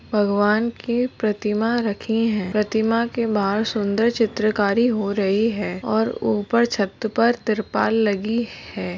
भगवान की प्रतिमा रखी है प्रतिमा के बाहर सुंदर चित्रकारी हो रही है और ऊपर छत पर त्रिपाल लगी है।